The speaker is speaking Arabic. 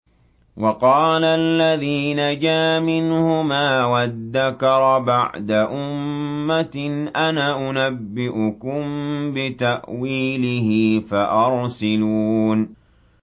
وَقَالَ الَّذِي نَجَا مِنْهُمَا وَادَّكَرَ بَعْدَ أُمَّةٍ أَنَا أُنَبِّئُكُم بِتَأْوِيلِهِ فَأَرْسِلُونِ